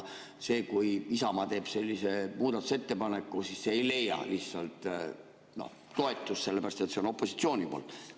Kui Isamaa teeb sellise muudatusettepaneku, siis see ei leia lihtsalt toetust, sellepärast et see on opositsiooni poolt.